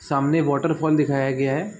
सामने वॉटरफॉल दिखाया गया है।